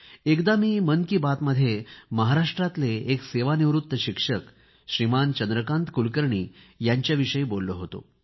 एकदा मी मन की बातमध्ये महाराष्ट्राचे एक सेवानिवृत्त शिक्षक श्रीमान् चंद्रकांत कुलकर्णी यांच्याविषयी बोललो होतो